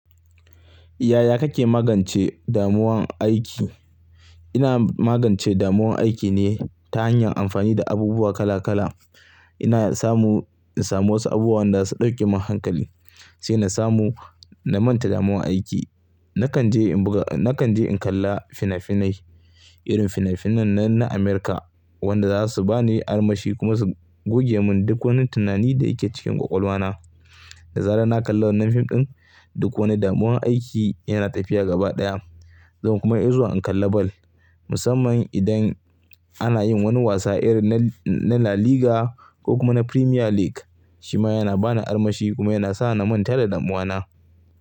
Yaya kake magance damuwan aiki? Ina magance damuwan aiki ne ta hanyar amfani da abubuwa kala kala. Ina samu, in samu wasu abubuwa wanda zasu dauke mun hankali sai na samu, na manta damuwan aiki. Nakan je in buga, nakan je in kalla fina-finai irin fina-finan nan na America wanda za su ba ni armashi kuma su goge mun duk wani tunani da yake cikin kwakwalwa na. Da zarar na kalla wannan fim din, duk wani damuwan aiki yana tafiya gaba daya. Zan kuma izuwa in kalla bal musamman idan ana yin wani wasa irin na La Liga ko kuma na Premier League shima yana bani armashi kuma yana sa na manta da damuwana.